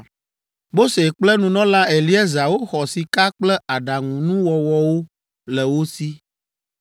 Mose kple nunɔla Eleazar woxɔ sika kple aɖaŋunuwɔwɔwo le wo si.